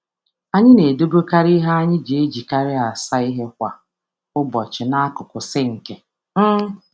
Anyị na-edobe sponji nhicha anyị masịrị anyị nso na sinki maka iji kwa ụbọchị.